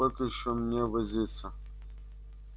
сколько ещё мне возиться